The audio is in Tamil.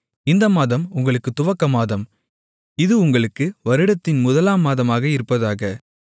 இந்த மாதம் உங்களுக்கு துவக்கமாதம் இது உங்களுக்கு வருடத்தின் முதலாம் மாதமாக இருப்பதாக